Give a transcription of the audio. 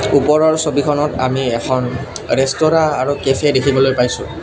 ওপৰৰ ছবিখনত আমি এখন ৰেস্তোৰাঁ আৰু কেফে দেখিবলৈ পাইছোঁ।